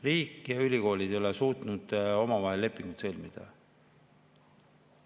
Riik ja ülikoolid ei ole suutnud omavahel lepinguid sõlmida.